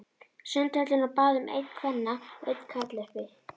Sundhöllinni og bað um einn kvenna og einn karla, uppi.